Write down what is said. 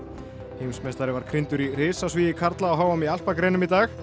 heimsmeistari var í risasvigi karla á h m í alpagreinum í dag